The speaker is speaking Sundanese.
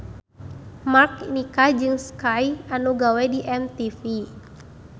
Mark nikah jeung Skye anu gawe di MTV.